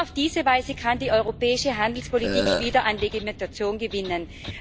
Nur auf diese Weise kann die europäische Handelspolitik wieder an Legitimation gewinnen.